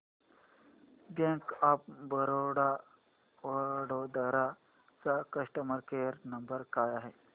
bank of Baroda Vadodara चा customer care number काय आहे